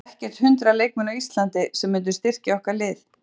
Það eru ekkert hundrað leikmenn á Íslandi sem myndu styrkja okkar lið.